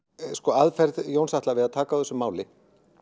aðferð Jóns Atla við að taka á þessu máli